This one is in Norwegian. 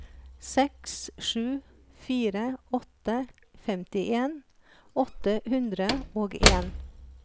seks sju fire åtte femtien åtte hundre og en